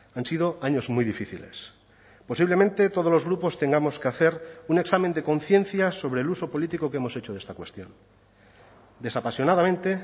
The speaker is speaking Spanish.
han sido años muy difíciles posiblemente todos los grupos tengamos que hacer un examen de conciencia sobre el uso político que hemos hecho de esta cuestión desapasionadamente